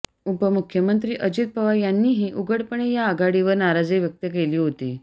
उपमुख्यमंत्री अजित पवार यांनीही उघडपणे या आघाडीवर नाजारी व्यक्त केली होती